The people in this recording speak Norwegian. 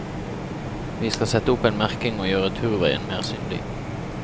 Vi skal sette opp merking og gjøre turveien mer synlig.